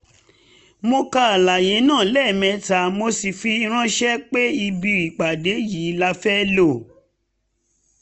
mo kà àlàyé náà lẹ́mẹta mo sì fi ránṣẹ́ pé ibi ipàdé yìí la fẹ́ lo